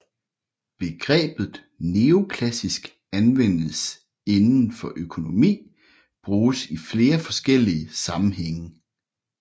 Begrebet neoklassisk anvendt inden for økonomi bruges i flere forskellige sammenhænge